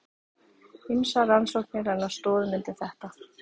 Ýmsar rannsóknir renna stoðum undir þetta.